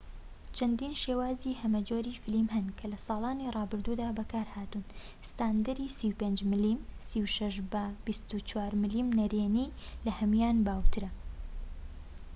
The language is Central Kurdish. چەندین شێوازی هەمەجۆری فیلم هەن کە لە ساڵانی ڕابردوودا بەکارهاتوون. ستاندەری 35 ملم 36 بە 24 ملم نەرێنی لە هەموویان باوترە‎